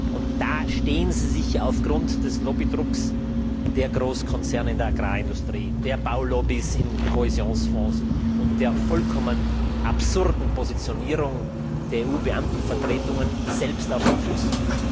Und da stehen Sie sich aufgrund des Lobbydrucks der Großkonzerne in der Agrarindustrie, der Baulobbys beim Kohäsionsfonds und der vollkommen absurden Positionierung der EU Beamtenvertretungen selbst auf den Füßen.